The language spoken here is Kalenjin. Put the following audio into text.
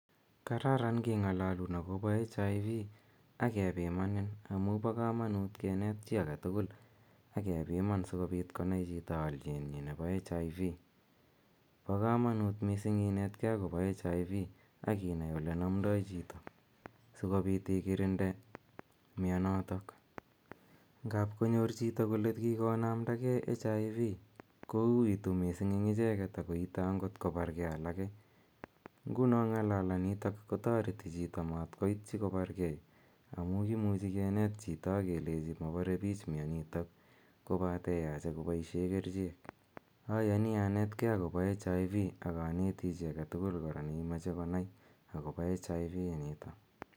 Kararan keng'alalun akopa HIV akepimanin amu pa kamanuut kenet chi age tugul ake piman si kopit konai chito alit nyi nepo HIV. Pa kamanuut missing' inetkei akopa HIV aki nai ole namdai chito si kopiit ikirinde mianotok. Ngap konyor chito kole kikonamda gei HIV kouitu missing' eng' icheget ako ite angot kopargei alake. Nguni ng'alalanitok kotareti chito matkoitchi kopar gei amu kimuchi kenet chito akelechi mapare piich mianitook kopate yache kopaishe kericheek. Ayani anegei akopa HIV akaneti chi age tugul ne mache konai akopa HIV initok.